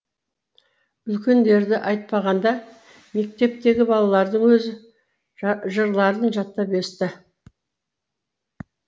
үлкендерді айтпағанда мектептегі балалардың өзі жырларын жаттап өсті